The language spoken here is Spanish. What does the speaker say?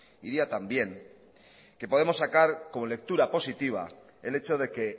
y día también que podemos sacar como lectura positiva el hecho de que